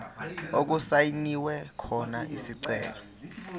okusayinwe khona isicelo